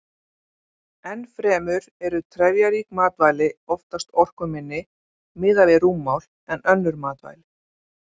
Enn fremur eru trefjarík matvæli oftast orkuminni miðað við rúmmál en önnur matvæli.